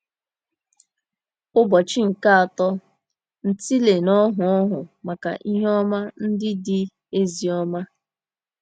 Ụbọchị nke Atọ – Ntịle na Ọhụụ Ọhụụ Maka Ihe Ọma Ndị Dị Ezi Ọma